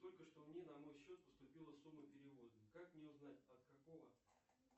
только что мне на мой счет поступила сумма перевода как мне узнать от какого